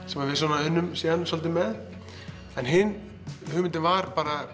sem við unnum svolítið með hin hugmyndin var